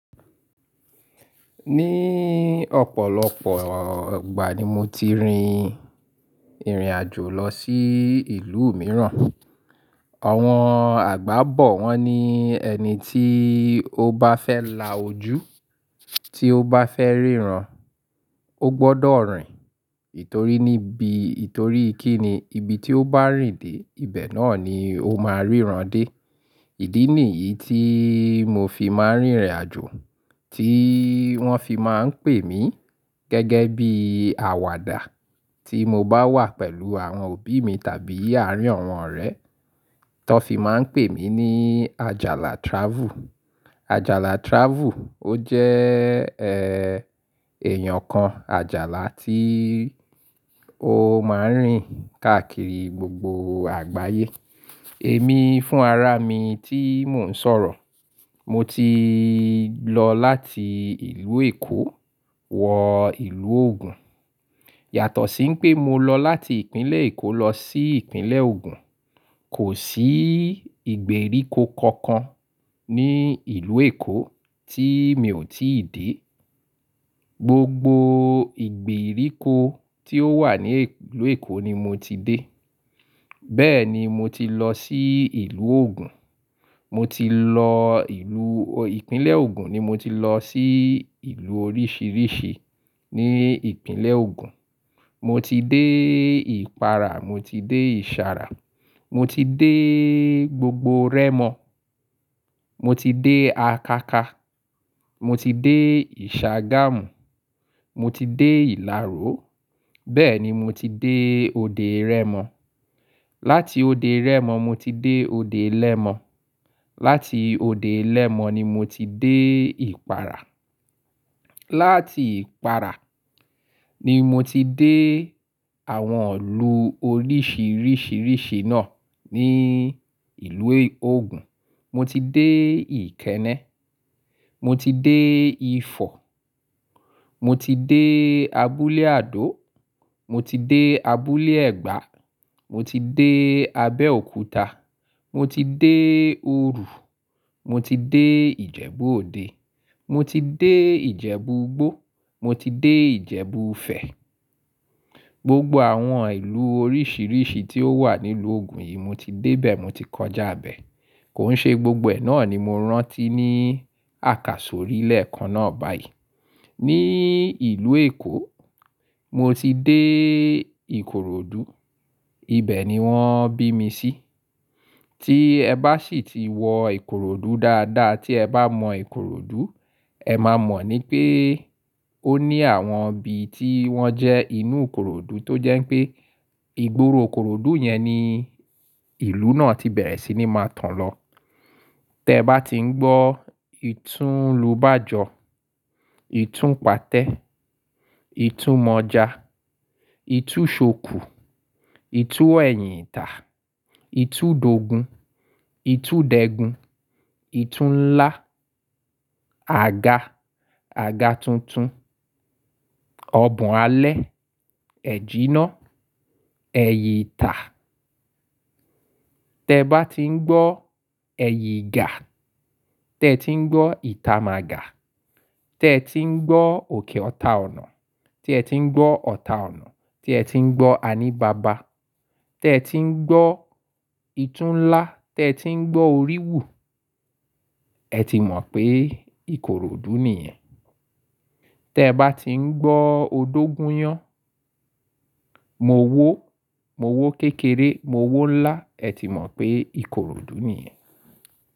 Ní ọ̀pọ̀lọpọ̀ igbà ni mo ti rìn irìnàjò lọ sí ìlú mìíràn. Awọ́n àgbá bọ̀ wọn ni ẹni tí ó bá fẹ́ la ojú, tí ó bá fẹ́ ríran, ó gbọ́dọ̀ rìn. Nítorí kí ni ibi tí ó bá rìnde, ibẹ̀ náà ni ó máa ríran dé. Ìdí nìyí tí mo fi máa rìn irìnàjò, tí wọ́n fi máa ń pè mí gẹ́gẹ́ bí àwàdà. Tí mo bá wà pẹ̀lú àwọn òbí mi tàbí àárín àwọn ọ̀rẹ́, tó fi máa ń pè mí ní Àjàlà Travel. Àjàlà Travel ó jẹ́, ẹ́, èèyàn kan, Àjàlà tí ó máa ń rìn káàkiri gbogbo àgbáyé. Èmi fún ara mi tí mò ń sọ̀rọ̀, mo ti lọ láti ìlú Èkó wọ ìlú Ògùn. Yàtọ̀ sí pé mo lọ láti ìpínlẹ̀ Èkó lọ sí ìpínlẹ̀ Ògùn, kò sí ìgbèríko kankan ní ìlú Èkó tí mi ò tí ì dé. Gbogbo ìgbèríko tí ó wà ní ìlú Èkó ni mo ti dé. Bẹ́ẹ̀ ni mo ti lọ sí ìlú Ògùn. Mo ti lọ ìlú-- ìpínlẹ̀ Ògùn ni mo ti lọ sí ìlú oríṣìíríṣìí ní ìpínlẹ̀ Ògùn. Mo ti dé ìpara, mo ti dé ìsara, mo ti dé gbogbo Rẹ́mọ. Mo ti dé Akaka, mo ti dé ìṣàgámù, mo ti dé ìláró. Bẹ́ẹ̀ ni mo ti dé òde Rẹ́mọ. Láti òde Rẹ́mọ mo ti dé òde Lẹ́mọ. Láti òde Lẹ́mọ ni mo ti dé ìpara. Láti ìpara ni mo ti dé àwọn ìlú oríṣìíríṣìí náà ní ìlú Ògùn. Mo ti dé Ìkẹ́nẹ́, mo ti dé Ifọ̀, mo ti dé abúlé Àdó, mo ti dé abúlé Ẹ̀gbá, mo ti dé Abẹ́òkúta, mo ti dé Òru, mo ti dé Ìjẹ̀bú-Òde, mo ti dé Ìjẹ̀bú-Ìgbó, mo ti dé Ìjẹ̀bú-Fẹ̀. Gbogbo àwọn ìlú oríṣìíríṣìí tí ó wà nílùú Ògùn yìí mo ti dé bẹ̀, mo ti kọjá bẹ̀. Kò ń ṣe gbogbo ẹ̀ náà ni mo rántí ní àkàsọ̀rílẹ̀ kan náà báyìí. Ní ìlú Èkó, mo ti dé Ikorodu. Ibẹ̀ ni wọ́n bí mi sí. Tí ẹ bá sì ti wọ Ikorodu dáadáa, tí ẹ bá mọ Ikorodu, ẹ má mọ̀ ní pé ó ní àwọn ibi tí wọ́n jẹ́ inú Ikorodu tó jẹ́ pé ìgboro Ikorodu yẹn ni ìlú náà ti bẹ̀rẹ̀ sí ní máa tán lọ. Tẹ bá ti ń gbọ́ ìtú lóbájọ, ìtú pàtẹ́, ìtú mọja, ìtú ṣòkú, ìtú ẹ̀yìn ìtà, ìtú dogun, ìtú dẹ́gun, ìtú ńlá, aga, aga tuntun, ọbùn alẹ́, ẹ̀jíná, ẹ̀yì ìtà. Tẹ bá ti ń gbọ́ ẹ̀yì ìgà, tí ẹ ti ń gbọ́ ìta màgà, tí ẹ ti ń gbọ́ òkè ọta ọ̀nà, tí ẹ ti ń gbọ́ ọta ọ̀nà, tí ẹ ti ń gbọ́ ani bàbá, tí ẹ ti ń gbọ́ ìtú ńlá, tí ẹ ti ń gbọ́ orí wù, ẹ ti mọ̀ pé Ikorodu nìyẹn. Tẹ bá ti ń gbọ́ odógun yán, mo wó, mo wó kékeré, mo wó ńlá, ẹ ti mọ̀ pé Ikorodu nìyẹn.